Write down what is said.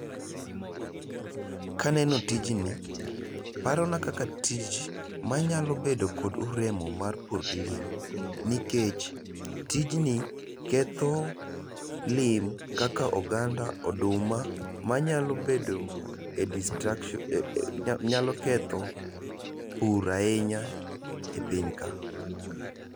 Kaneno tijni, parona kaka tich manyalo bedo kod nikech tijni ketho lemo kaka oganda, oduma, manyalo bedo e destruction, nyalo ketho pur ahinya e piny ka